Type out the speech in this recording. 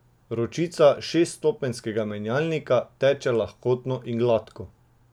Ročica šeststopenjskega menjalnika teče lahkotno in gladko.